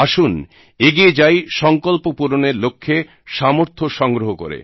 আসুন এগিয়ে যাই সংকল্প পূরণের লক্ষ্যে সামর্থ্য সংগ্রহ করে